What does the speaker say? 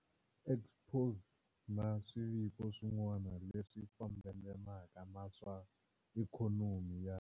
Exposé na swiviko swin'wana leswi fambelanaka na swa ikhonomi ya.